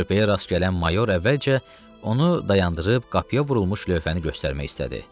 Körpəyə rast gələn mayor əvvəlcə onu dayandırıb qapıya vurulmuş lövhəni göstərmək istədi.